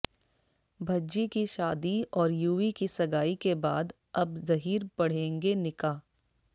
भज्जी की शादी और युवी की सगाई के बाद अब जहीर पढ़ेंगे निकाह